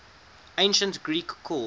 ancient greek called